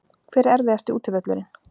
Hver er erfiðasti útivöllurinn?